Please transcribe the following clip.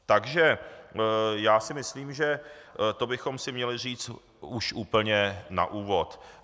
Takže já si myslím, že to bychom si měli říct už úplně na úvod.